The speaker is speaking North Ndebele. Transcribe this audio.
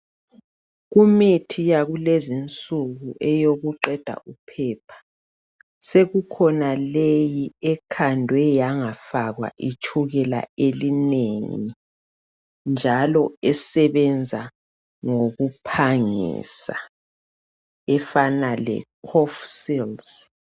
Kumithi yakulezi insuku eyokuqeda uphepha. Sekukhona leyi ekhandwe yangafakwa itshukela elinengi. Njalo esebenza ngokuphangisa efana leCofsils.